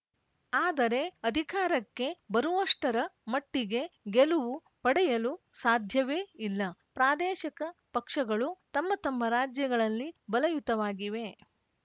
ಆದರೆ ಅಧಿಕಾರಕ್ಕೆ ಬರುವಷ್ಟರ ಮಟ್ಟಿಗೆ ಗೆಲವು ಪಡೆಯಲು ಸಾಧ್ಯವೇ ಇಲ್ಲ ಪ್ರಾದೇಶಿಕ ಪಕ್ಷಗಳು ತಮ್ಮ ತಮ್ಮ ರಾಜ್ಯಗಳಲ್ಲಿ ಬಲಯುತವಾಗಿವೆ